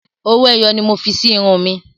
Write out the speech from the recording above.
Owó ẹyọ ni mo fi sí irun mi.